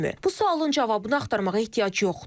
Bu sualın cavabını axtarmağa ehtiyac yoxdur.